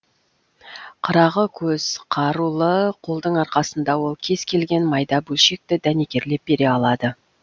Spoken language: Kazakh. қырағы көз қарулы қолдың арқасында ол кез келген майда бөлшекті дәнекерлеп бере алады